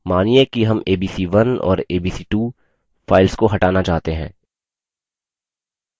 मानिये कि हम abc1 और abc2 files को हटाना चाहते हैं